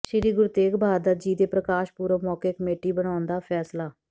ਸ੍ਰੀ ਗੁਰੂ ਤੇਗ ਬਹਾਦਰ ਜੀ ਦੇ ਪ੍ਰਕਾਸ਼ ਪੁਰਬ ਮੌਕੇ ਕਮੇਟੀ ਬਣਾਉਣ ਦਾ ਫੈਸਲਾ